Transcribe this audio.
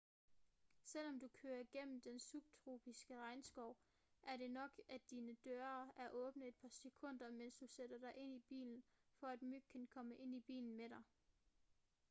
selvom du kører gennem den subtropiske regnskov er det nok at dine døre er åbne i et par sekunder mens du sætter dig ind i bilen for at myg kan komme ind i bilen med dig